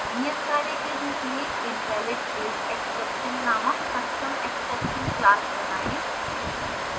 नियतकार्य के रूप में: invalidageexception नामक custom exception class बनाएँ